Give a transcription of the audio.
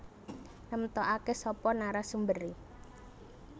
Nemtokake sapa narasumbere